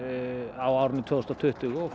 á árinu tvö þúsund og tuttugu og